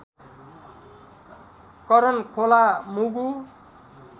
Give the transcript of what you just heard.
Karan Khola Mugu